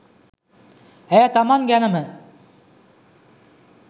ඇය තමන් ගැනම